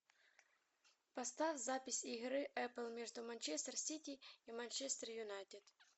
поставь запись игры апл между манчестер сити и манчестер юнайтед